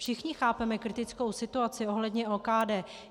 Všichni chápeme kritickou situaci ohledně OKD.